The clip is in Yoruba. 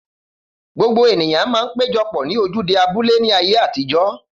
Gbogbo ènìyàn man péjopò ní ojúde abúlé ní ayé àtijó